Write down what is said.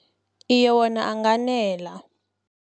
Iye, wona anganela.